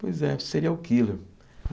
Pois é, serial killer.